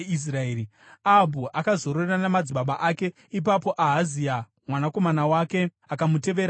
Ahabhu akazorora namadzibaba ake. Ipapo Ahazia mwanakomana wake akamutevera paumambo.